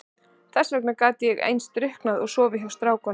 Þess vegna gat ég alveg eins drukkið og sofið hjá strákum.